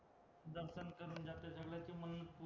दर्शन करून जाते सगळं ते मंग